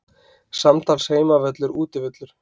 Samtals Heimavöllur Útivöllur